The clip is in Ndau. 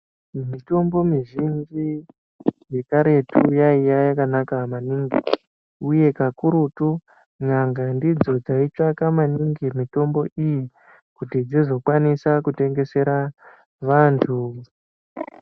Mitombo mizhinji yekaretu yaiya yakanaka maningi uye kakurutu n'anga ndidzo dzaitsvaka maningi mitombo iyi kuti dzizokwanisa kutengesera vantu.